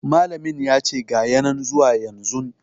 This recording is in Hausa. Malamin yace ga ya nan zuwa yanzun